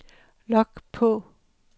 log på